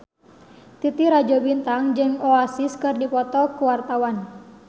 Titi Rajo Bintang jeung Oasis keur dipoto ku wartawan